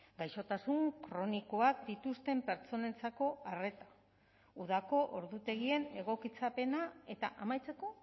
gaixotasun kronikoak dituzten pertsonentzako arreta udako ordutegien egokitzapena eta amaitzeko